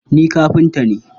Ni kafinta ne.